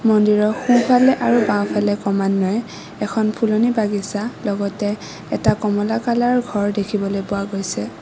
মন্দিৰৰ সোঁফালে আৰু বাওঁফালে ক্ৰমান্বয়ে এখন ফুলনী বাগিচা লগতে এটা কমলা কালাৰৰ ঘৰ দেখিবলৈ পোৱা গৈছে।